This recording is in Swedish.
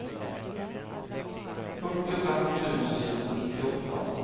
fyrtiofem tusen nittioåtta